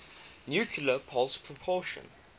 nuclear pulse propulsion